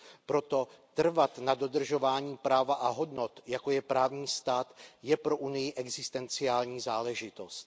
Proto trvat na dodržování práva a hodnot, jako je právní stát, je pro Unii existenciální záležitost.